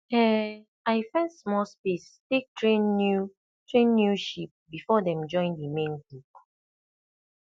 um i fence small space take train new train new sheep before dem join the main group